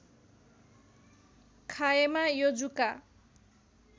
खाएमा यो जुका